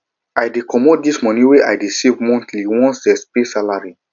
i dey comot di moni wey i dey save monthly once dem pay salary